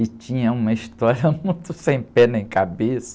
E tinha uma história muito sem pé nem cabeça.